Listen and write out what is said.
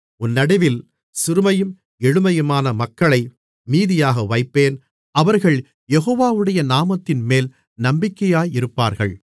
உன் நடுவில் சிறுமையும் எளிமையுமான மக்களை மீதியாக வைப்பேன் அவர்கள் யெகோவாவுடைய நாமத்தின்மேல் நம்பிக்கையாயிருப்பார்கள்